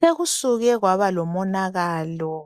Sekusuke kwaba lomonakalo